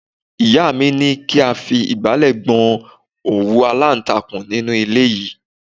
Ìyá mi ní kí a fi igbale gbọn òwú alantakun inú ilé yìí.